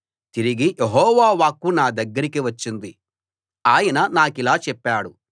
తిరిగి యెహోవా వాక్కు నా దగ్గరకి వచ్చింది ఆయన నాకిలా చెప్పాడు